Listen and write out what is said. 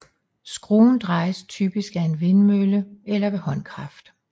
Skruen drejes typisk af en vindmølle eller ved håndkraft